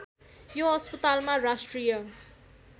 यो अस्पतालमा राष्ट्रिय